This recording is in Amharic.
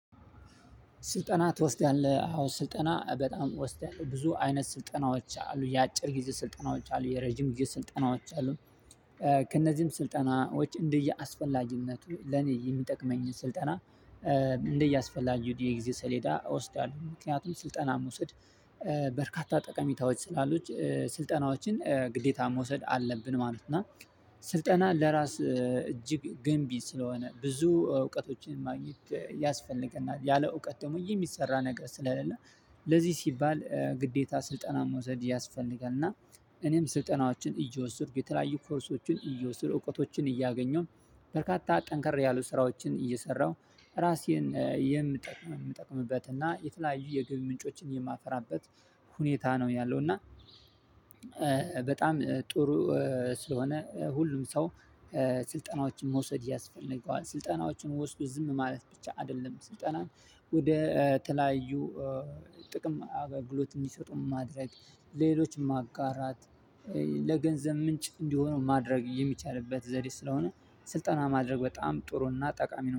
ስልጠና ትወስዳለህ አዎ ስልጠና በጣም ወስዳለው ብዙ አይነት ስልጠናዎች አሉ የአጭር ጊዜ ስልጠናዎች አሉ የረጅም ስልጠናዎች አሉ። ከእነዚህም ስልጠናዎች እንደያስፈላጊነቱ ለኔ የሚጠቅመኝን ስልጠና። እንደያስፈላጊው የጊዜ ሰሌዳ እወስዳለሁ ምክንያቱም ስልጠና መውሰድ በርካታ ጠቀሚታዎች ስላሉት ስልጠናዎችን ግዴታ መውሰድ አለብን ማለት ነው። እና ስልጠና ለራስ እጅግ ገንቢ ስለሆነ ብዙ እውቀቶችን ማግኘት ያስፈልገናል ያለ እውቀት ደግሞ የሚሰራ ነገር ስለሌለ። ለዚህ ሲባል ግዴታ ስልጠና መውሰድ ያስፈልጋል። እና እኔም ስልጠናዎችን እየወሰድኩ የተለያዩ ኮርሶችን እየወሰድኩ እውቀቶችን እያገኘው። በርካታ ጠንከር ያሉ ስራዎችን እየሰራሁ ራሴን የምጠቅም የምጠቅምበት እና የተለያዩ የግብ ምንጮችን የማፈራበት ሁኔታ ነው ያለው። እና በጣም ጥሩ ስለሆነ ሁሉም ሰው ስልጠናዎችን መውሰድ ያስፈልገዋል። ስልጠናዎቹን ወስዶ ዝም ማለት ብቻ አይደለም። ስልጠናን ወደ ተለያዩ ጥቅም አገልግሎት እንዲሰጡ ማድረግ ሌሎችም ማጋራት ለገንዘብ ምንጭ እንዲሆነው ማድረግ የሚቻልበት ዘዴ ስለሆነ። ስልጠና ማድረግ በጣም ጥሩና ጠቃሚ ነው